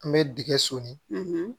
An bɛ dingɛ so ni